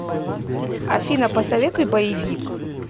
афина посоветуй боевик